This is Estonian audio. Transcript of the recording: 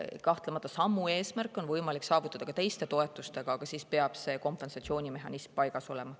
Kahtlemata on samu eesmärke võimalik saavutada ka teiste toetustega, aga siis peab kompensatsioonimehhanism paigas olema.